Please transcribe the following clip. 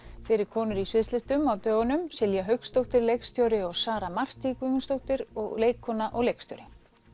fyrir konur í sviðslistum á dögunum Silja Hauksdóttir leikstjóri og Sara Marti Guðmundsdóttir leikkona og leikstjóri